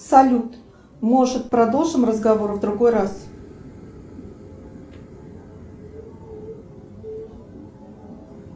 салют может продолжим разговор в другой раз